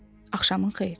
Axşamın xeyir.